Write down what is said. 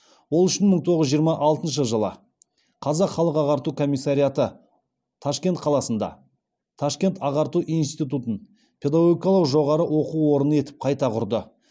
ол үшін мың тоғыз жүз жиырма алтыншы жылы қазақ халық ағарту комиссариаты ташкент қаласында ташкент ағарту институтын педагогикалық жоғары оқу орны етіп қайта құрды